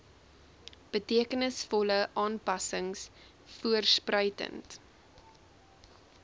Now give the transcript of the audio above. betekenisvolle aanpassings voorspruitend